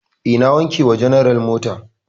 E, na wanke wa general mota.